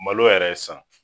Malo yɛrɛ ye san